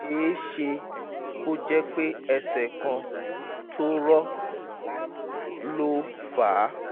ó ṣe é é ṣe kó jẹ́ pé ẹsẹ̀ kan tó rọ́ ló fà á